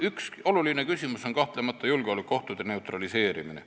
Üks oluline küsimus on kahtlemata julgeolekuohtude neutraliseerimine.